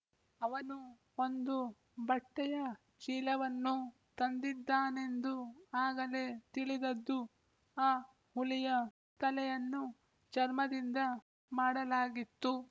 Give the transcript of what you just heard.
ಅವನು ಒಂದು ಬಟ್ಟೆಯ ಚೀಲವನ್ನು ತಂದಿದ್ದಾನೆಂದು ಆಗಲೇ ತಿಳಿದದ್ದು ಆ ಹುಲಿಯ ತಲೆಯನ್ನು ಚರ್ಮದಿಂದ ಮಾಡಲಾಗಿತ್ತು